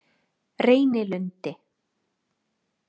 Reynilundi